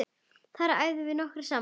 Þar æfum við nokkrir saman.